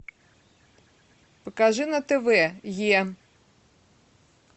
покажи на тв е